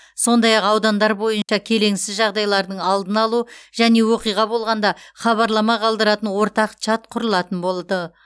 сондай ақ аудандар бойынша келеңсіз жағдайлардың алдын алу және оқиға болғанда хабарлама қалдыратын ортақ чат құрылатын болды